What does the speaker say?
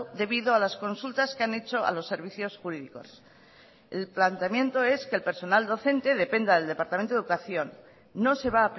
debido a las consultas que han hecho a los servicios jurídicos el planteamiento es que el personal docente dependa del departamento de educación no se va a